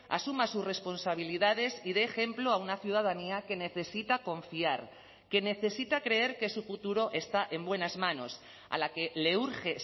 asuma sus responsabilidades y dé ejemplo a una ciudadanía que necesita confiar que necesita creer que su futuro está en buenas manos a la que le urge